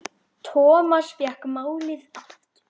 Thomas fékk málið aftur.